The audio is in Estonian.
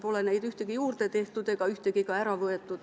Pole neid ühtegi juurde tehtud ega ühtegi ka ära võetud.